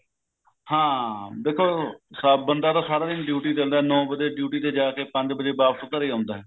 ਹਾਂ ਦੇਖੋ ਬੰਦਾ ਤਾਂ ਸਾਰਾ ਦਿਨ duty ਕਰਦਾ ਨੋ ਵਜੇ duty ਤੇ ਜਾਕੇ ਪੰਜ ਵਜੇ ਵਾਪਸ ਘਰੇ ਆਉਂਦਾ